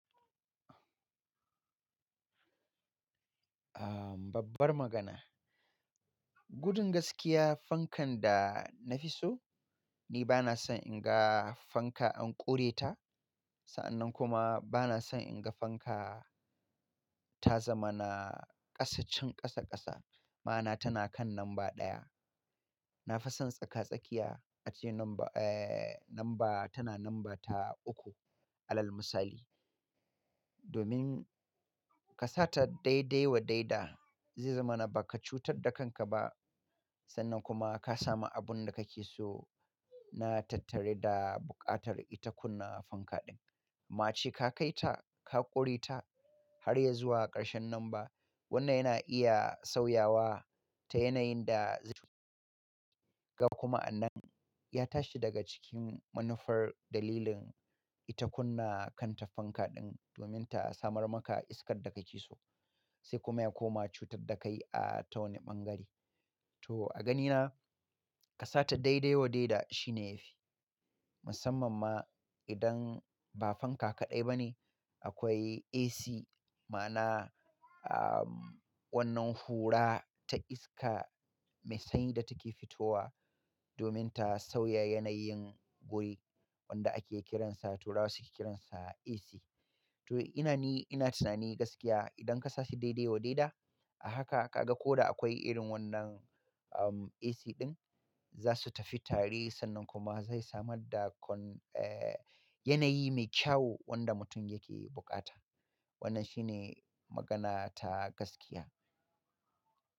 Ah, babbar magana. Gudun gaskiya fankan da na fi so, ni ba na son in ga fanka an ƙure ta. Sa'an nan kuma ba na son in ga fanka ta zama na ƙasaccen ƙasa ƙasa, ma'ana tana kan lamba ɗaya. Na fi son tsaka-tsakiya ace lamba, eh, lamba tana lamba ta uku alal misali. Domin ka sa ta daidai wa daida zai zama na ba ka cutar da kanka ba. Sannan kuma ka samu abun da kake so na tattare da buƙatar ita kunna fanka ɗin. Amma ace ka kai ta, ka ƙure ta har ya zuwa ƙarshen lamba, wannan yana iya sauyawa ta yanayin da zai ga kuma an nan ya tashi daga cikin manufar dalilin ita kunna kanta fanka ɗin domin ta samar maka iskar da kake so, sai kuma ya koma cutar da ka yi a tawani ɓangare. To a ganina ka sa ta daidai wa daida shine yafi. Musamman ma idan ba fanka kaɗai ba ne, akwai AC ma'ana, ah, wannan hura ta iska mai sanyi da take fitowa domin ta sauya yanayin guri wanda ake kiransa turawa suke kiransa AC. To ina ni ina tunani gaskiya idan ka sa shi daidai wa daida a haka ka ga ko da akwai irin wannan, um, AC ɗin za su tafi tare sannan kuma zai samar da kon-- eh, yanayi mai kyau wanda mutum yake buƙata. Wannan shine magana ta gaskiya.